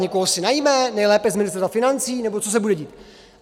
Někoho si najme, nejlépe z Ministerstva financí, nebo co se bude dít?